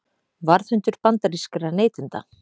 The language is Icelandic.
Varðhundur bandarískra neytenda